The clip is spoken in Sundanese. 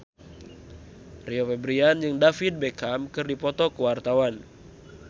Rio Febrian jeung David Beckham keur dipoto ku wartawan